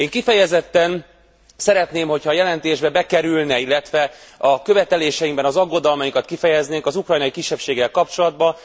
Én kifejezetten szeretném, hogyha a jelentésbe bekerülne, illetve a követeléseinkben az aggodalmainkat kifejeznék a kisebbséggel kapcsolatban.